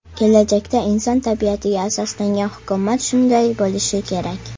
Kelajakda inson tabiatiga asoslangan hukumat shunday bo‘lishi kerak.